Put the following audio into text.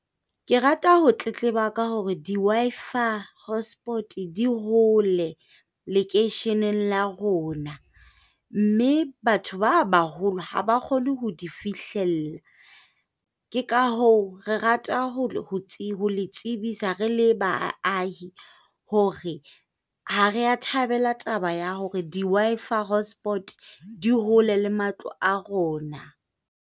Ke rata ho tletleba ka hore di-Wi-Fi hotspots di hole lekeisheneng la rona. Mme batho ba baholo ha ba kgone ho di fihlella. Ke ka hoo re rata ho le tsebisa re le baahi hore ha re a thabela taba ya hore di-Wi-Fi hotspots di hole le matlo a rona.